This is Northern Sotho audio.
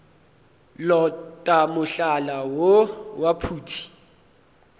lota mohlala woo wa phuti